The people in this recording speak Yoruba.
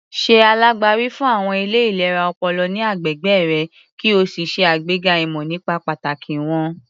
Ṣe alágbàwí fún àwọn ilé ìlera ọpọlọ ní agbègbè rẹ kí o ṣe àgbega ìmọ̀ nípa pàtàkì wọ́n.